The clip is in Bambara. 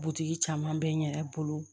Butigi caman bɛ n yɛrɛ bolo